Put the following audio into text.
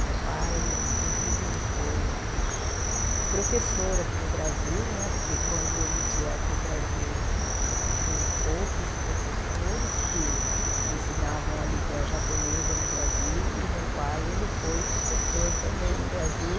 Meu pai, inclusive, ele foi professor aqui no Brasil né, porque quando eles vieram para o Brasil tinham poucos professores que ensinavam a língua japonesa no Brasil e meu pai, ele foi professor também no Brasil.